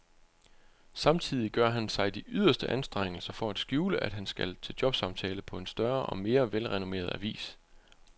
Samtidig gør han sig de yderste anstrengelser for at skjule, at han skal til jobsamtale på en større og mere velrenommeret avis.